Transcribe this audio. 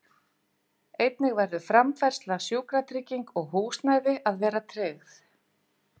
Einnig verður framfærsla, sjúkratrygging og húsnæði að vera tryggð.